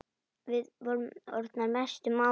Við vorum orðnar mestu mátar.